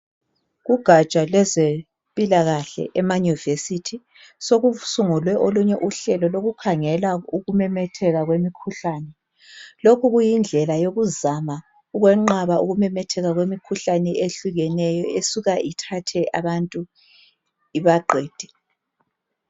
Kugatsha lwezempilakahle emanyuvesithi sokusungulwe olunye uhlelo lokukhangela ukumemetheka kwemikhuhlane lokhu kuyindlela yokuzama ukwenqaba ukumemetheka kwemikhuhlane ehlukeneyo esuka ithathe abantu ibaqede.